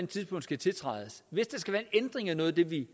tidspunkt skal tiltrædes hvis der skal være en ændring af noget af det vi